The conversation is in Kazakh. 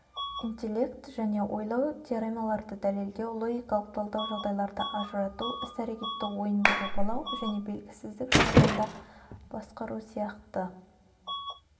интеллект және ойлау теоремаларды дәлелдеу логикалық талдау жағдайларды ажырату іс-әрекетті ойынды жобалау және белгісіздік жағдайында басқару сияқты